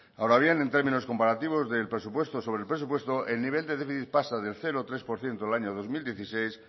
ahora bien en términos comparativos del presupuesto sobre el presupuesto el nivel de déficit pasa del cero coma tres por ciento el año dos mil dieciséis